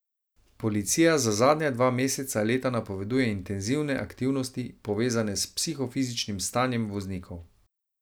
Policija za zadnja dva meseca leta napoveduje intenzivne aktivnosti, povezane s psihofizičnim stanjem voznikov.